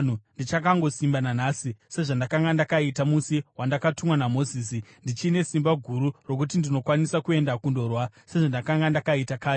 Ndichakangosimba nanhasi sezvandakanga ndakaita musi wandakatumwa naMozisi; ndichine simba guru rokuti ndinokwanisa kuenda kundorwa sezvandakanga ndakaita kare.